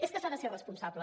és que s’ha de ser responsable